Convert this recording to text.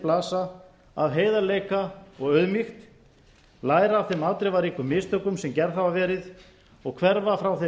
blasa af heiðarleika og auðmýkt læra af þeim afdrifaríku mistökum sem gerð hafa verið og hverfa frá þeirri